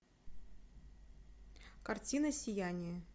картина сияние